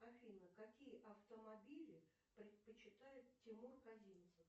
афина какие автомобили предпочитает тимур казинцев